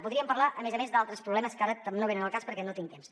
podríem parlar a més a més d’altres problemes que ara no venen al cas perquè no tinc temps